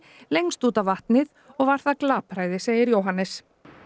lengst út á vatnið og var það glapræði segir Jóhannes